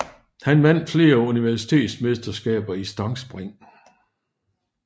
Han vandt flere universitetsmesterskaber i stangspring